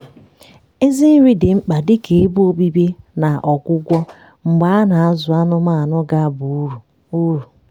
ezi nri dị mkpa dị ka ebe obibi na ọgwụgwọ mgbe a na-azụ anụmanụ ga-aba uru uru